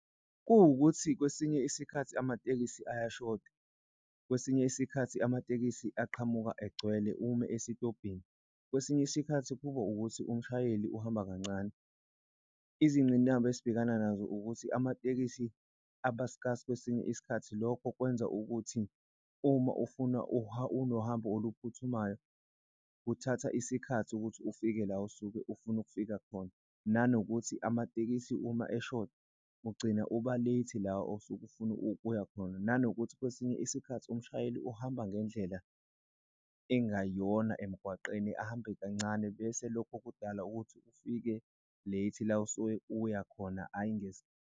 Kuwukuthi kwesinye isikhathi amatekisi ayashoda, kwesinye isikhathi amatekisi aqhamuka egcwele ume esitobhini. Kwesinye isikhathi kuba ukuthi umshayeli uhamba kancane izingqinamba esibhekana nazo ukuthi amatekisi aba-scarce kwesinye isikhathi. Lokho kwenza ukuthi uma ufuna unohambo oluphuthumayo, kuthatha isikhathi ukuthi ufike la osuke ufuna ukufika khona nanokuthi amatekisi uma eshoda ugcina uba late la osuke ufuna ukuya khona. Nanokuthi kwesinye isikhathi umshayeli uhamba ngendlela engayona emgwaqeni ahambe kancane, bese lokho kudala ukuthi ufike late la osuke uyakhona ayi .